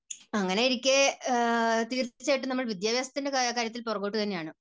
അങ്ങനെയിരിക്കെ തീർച്ചയായിട്ടും നമ്മൾ വിദ്യാഭ്യാസത്തിൻറെ കാര്യത്തിൽ പുറകോട്ട് തന്നെയാണ്.